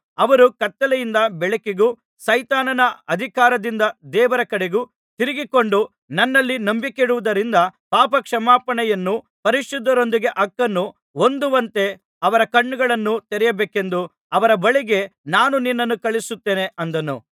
ಅವರು ಕತ್ತಲೆಯಿಂದ ಬೆಳಕಿಗೂ ಸೈತಾನನ ಅಧಿಕಾರದಿಂದ ದೇವರ ಕಡೆಗೂ ತಿರುಗಿಕೊಂಡು ನನ್ನಲ್ಲಿ ನಂಬಿಕೆಯಿಡುವುದರಿಂದ ಪಾಪಕ್ಷಮಾಪಣೆಯನ್ನೂ ಪರಿಶುದ್ಧರೊಂದಿಗೆ ಹಕ್ಕನ್ನೂ ಹೊಂದುವಂತೆ ಅವರ ಕಣ್ಣುಗಳನ್ನು ತೆರೆಯಬೇಕೆಂದು ಅವರ ಬಳಿಗೆ ನಾನು ನಿನ್ನನ್ನು ಕಳುಹಿಸುತ್ತೇನೆ ಅಂದನು